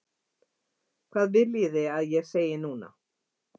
Hvað viljið þið að ég segi núna?